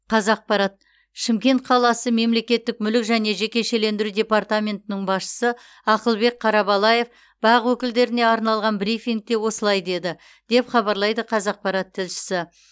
қазақпарат шымкент қаласы мемлекеттік мүлік және жекешелендіру департаментінің басшысы ақылбек қарабалаев бақ өкілдеріне арналған брифингте осылай деді деп хабарлайды қазақпарат тілшісі